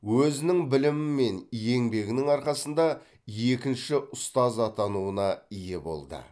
өзінің білімі мен еңбегінің арқасында екінші ұстаз атануына ие болды